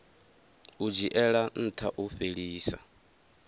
u dzhiela ntha u fhelisa